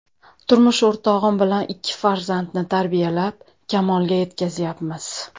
Turmush o‘rtog‘im bilan ikki farzandni tarbiyalab, kamolga yetkazyapmiz.